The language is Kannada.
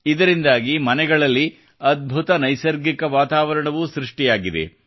ಇದರಿಂದಾಗಿ ಮನೆಗಳಲ್ಲಿ ಅದ್ಭುತ ನೈಸರ್ಗಿಕ ವಾತಾವರಣವೂ ಸೃಷ್ಟಿಯಾಗಿದೆ